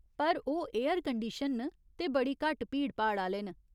पर ओह् एयरकंडीशन न ते बड़ी घट्ट भीड़भाड़ आह्‌ले न।